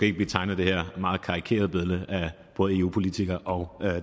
ikke at tegne det her meget karikerede billede af både eu politikere og